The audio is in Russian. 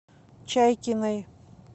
чайкиной